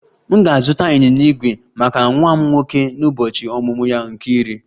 M ga-azụta ịnyịnya ígwè maka nwa m nwoke n'ụbọchị ọmụmụ ya nke iri